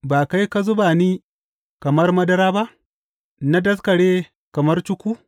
Ba kai ka zuba ni kamar madara ba, na daskare kamar cuku.